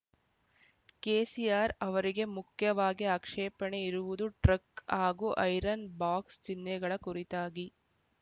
ಕೆಸಿಆರ್ ಅವರಿಗೆ ಮುಖ್ಯವಾಗಿ ಆಕ್ಷೇಪಣೆ ಇರುವುದು ಟ್ರಕ್ ಹಾಗು ಐರನ್ ಬಾಕ್ಸ್ ಚಿನ್ನೆಗಳ ಕುರಿತಾಗಿ